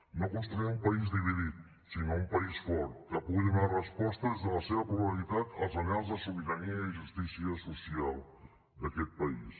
no construir un país dividit sinó un país fort que pugui donar resposta des de la seva pluralitat als anhels de sobirania i justícia social d’aquest país